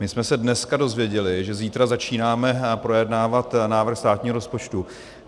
My jsme se dneska dozvěděli, že zítra začínáme projednávat návrh státního rozpočtu.